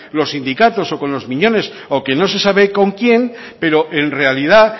los sindicatos o con los miñones o que no se sabe con quién pero en realidad